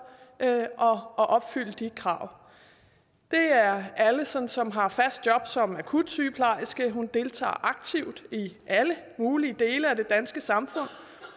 at opfylde de krav det er alison som har fast job som akutsygeplejerske hun deltager aktivt i alle mulige dele af det danske samfund